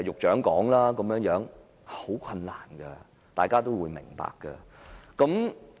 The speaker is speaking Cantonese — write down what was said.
這是很困難的，大家都會明白。